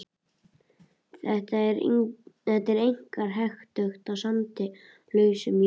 Þetta er einkar hentugt í sandi og lausum jarðlögum.